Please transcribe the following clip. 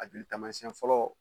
A joli taamasiɲɛn fɔlɔ